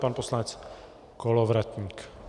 Pan poslanec Kolovratník.